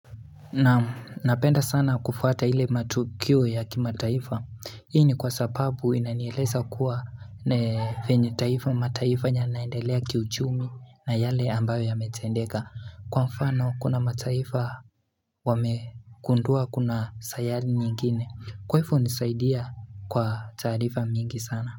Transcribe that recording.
Naam napenda sana kufuata ile matukio ya kimataifa hii ni kwa sababu inanieleza kuwa venye mataifa yanaendelea kiuchumi na yale ambayo yametendeka kwa mfano kuna mataifa wamekundua kuna sayari nyingine kwa ifo hunisaidia kwa taarifa mingi sana.